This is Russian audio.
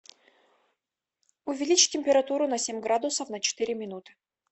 увеличь температуру на семь градусов на четыре минуты